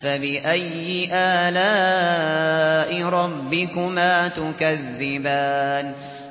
فَبِأَيِّ آلَاءِ رَبِّكُمَا تُكَذِّبَانِ